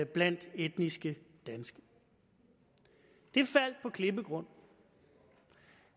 blandt etniske danskere det faldt på klippegrund